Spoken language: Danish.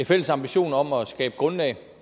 fælles ambition om at skabe grundlag